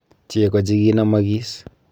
Cheko chikinamagis.